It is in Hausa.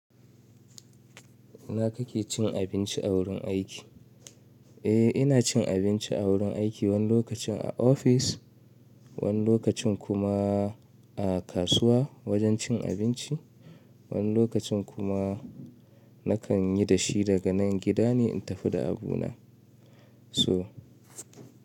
Ina kake cin abinci a wurin aiki? Eh ina cin abinci a wurin aiki, wani lokacin a ofis, wani lokacin kuma a kasuwa wajen cin abinci, wani lokacin kuma nakan yi da shi daga nan gida ne in tafi da abuna. So.